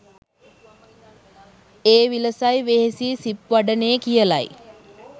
ඒ විලසයි වෙහෙසී සිප් වඩනේ කියලයි.